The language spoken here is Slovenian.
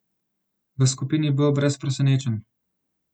V skupini B brez presenečenj.